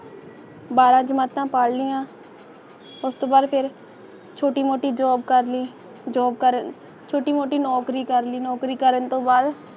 ਬਾਰਾ ਜਮਾਤਾ ਪੜ ਲੀਆਂ ਉਸ ਤੋਂ ਬਾਦ ਫਿਰ ਛੋਟੋ ਮੋਤੀ job ਕਾਰਲ ਲਈ job ਕਰ ਛੋਟਈ ਮੋਤੀ ਨੌਕਰੀ ਕਰਨ ਤੋਂ ਬਾਦ